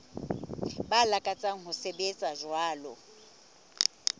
ba lakatsang ho sebetsa jwalo